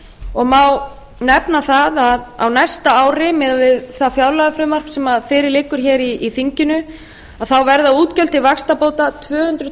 og má nefna það að á næsta ári miðað við það fjárlagafrumvarp sem fyrir liggur hér í þinginu þá verða útgjöld til vaxtabóta tvö hundruð